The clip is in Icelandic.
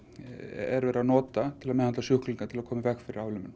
erum við að nota til að meðhöndla sjúklinga til að koma í veg fyrir